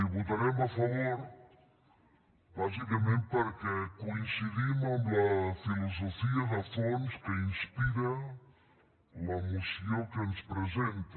hi votarem a favor bàsicament perquè coincidim amb la filosofia de fons que inspira la moció que ens presenta